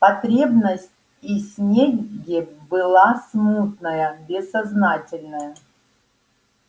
потребность и снегге была смутная бессознательная